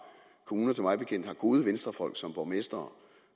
kommuner som mig bekendt har gode venstrefolk som borgmestre